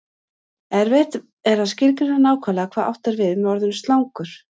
erfitt er að skilgreina nákvæmlega hvað átt er við með orðinu slangur